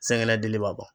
Sɛgɛ dili b'a bɔ